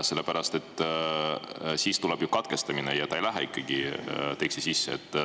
Sellepärast et siis tuleb ju katkestamine ja see ei lähe ikkagi teksti sisse.